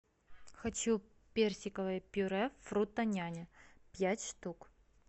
хочу персиковое пюре фрутоняня пять штук